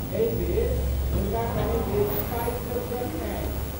एहि बेर, हुनका कने बेसी पाइक जरूरत छनि।